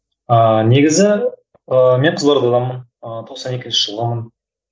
ыыы негізі ыыы мен қызылордаданмын ы тоқсан екінші жылғымын